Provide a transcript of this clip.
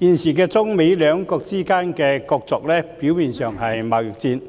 現時中、美兩國之間的角逐，表面上是貿易戰，